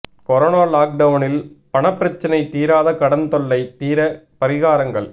corona லாக் டவுனில் பணப்பிரச்சினை தீராத கடன் தொல்லை தீர பரிகாரங்கள்